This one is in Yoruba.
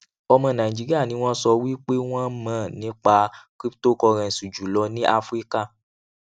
ọmọ nàìjíríà ni wọn sọ wípé wọn mọ nípa cryptocurrency jùlọ ní áfíríkà